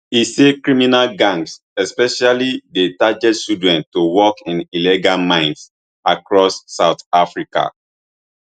e say criminal gangs specifically dey target children to work in illegal mines across south africa